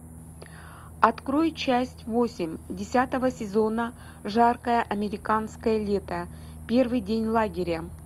открой часть восемь десятого сезона жаркое американское лето первый день лагеря